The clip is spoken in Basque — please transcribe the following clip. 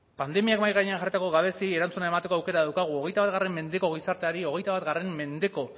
pandemiak mahai gainean jarritako gabeziei erantzuna emateko aukera daukagu hogeita bat mendeko gizarteari hogeita bat mendeko